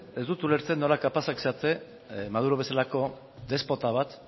ez dut ulertzen nola kapazak zareten maduro bezalako despota bat